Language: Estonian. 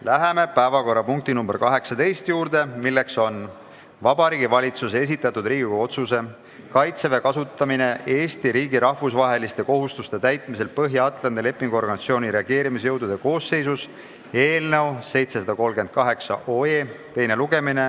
Läheme päevakorrapunkti nr 18 juurde, milleks on Vabariigi Valitsuse esitatud Riigikogu otsuse "Kaitseväe kasutamine Eesti riigi rahvusvaheliste kohustuste täitmisel Põhja-Atlandi Lepingu Organisatsiooni reageerimisjõudude koosseisus" eelnõu teine lugemine.